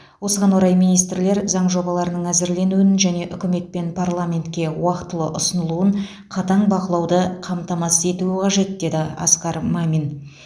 осыған орай министрлер заң жобаларының әзірленуін және үкімет пен парламентке уақтылы ұсынылуын қатаң бақылауды қамтамасыз етуі қажет деді асқар мамин